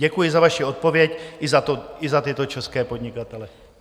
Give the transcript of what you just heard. Děkuji za vaši odpověď i za tyto české podnikatele.